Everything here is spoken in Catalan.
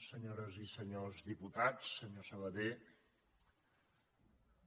senyores i senyors diputats senyor sabaté